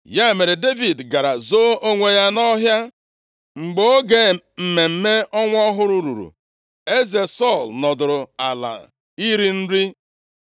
Ya mere, Devid gara zoo onwe ya nʼọhịa. Mgbe oge mmemme ọnwa ọhụrụ ruru, eze Sọl nọdụrụ ala iri nri.